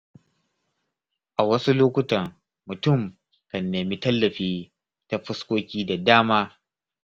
A wasu lokutan mutum kan nemi tallafi ta fuskoki da dama.